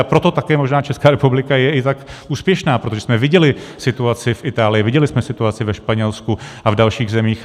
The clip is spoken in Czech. A proto také možná Česká republika je i tak úspěšná, protože jsme viděli situaci v Itálii, viděli jsme situaci ve Španělsku a v dalších zemích.